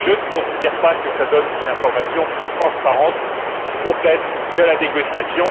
Je ne considère pas que cela donne une information transparente et complète de la négociation.